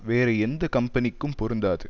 வேறு எந்த கம்பெனிக்கும் பொருந்தாது